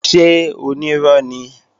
Ṣé onírọ́ ni?